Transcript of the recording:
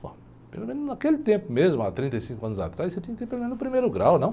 Pô, pelo menos naquele tempo mesmo, há trinta e cinco anos atrás, você tinha que ter pelo menos o primeiro grau, não?